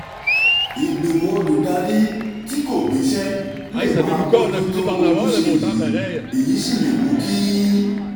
ìgbìmọ̀ olùdarí tí kò gbéṣẹ́ lè máà bójú tó ojúṣe yìí èyí sì lè mú kí